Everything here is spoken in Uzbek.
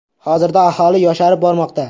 Hozirda aholi yosharib bormoqda.